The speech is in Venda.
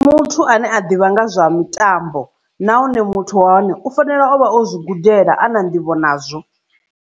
Muthu ane a ḓivha nga zwa mitambo nahone muthu wa hone u fanela ovha o zwi gudela a na nḓivho nazwo.